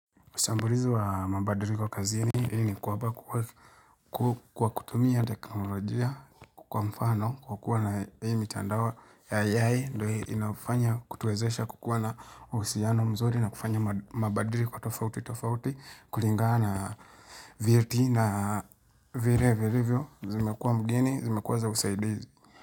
Ushambulizi wa mabadiliko kazini hili kwamba kwa kutumia teknolojia kwa mfano kwa kuwa na hii mitindao ya AI ndio inafanya kutuwezesha kukuwa na uhusiano mzuri na kufanya mabadiliko tofauti tofauti kulingana na vyeti na vile vilivyo zimekuwa mgeni zimekuwa za usaidizi.